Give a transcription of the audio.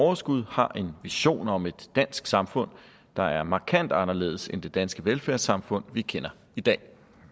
overskud har en vision om et dansk samfund der er markant anderledes end det danske velfærdssamfund vi kender i dag